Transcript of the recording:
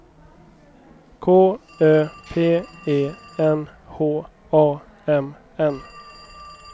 K Ö P E N H A M N